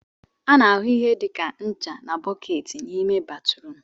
A na-ahụ ihe dị ka ncha na bọọketi n'ime batrum